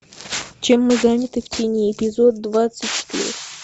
чем мы заняты в тени эпизод двадцать четыре